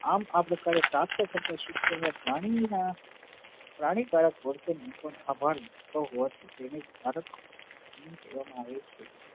આમ આ પ્રકારે પ્રાપ્ત થતા શિક્ષણ માં પ્રાણી ના પ્રાણી કારક કેવા માં આવે છે